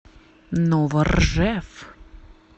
новоржев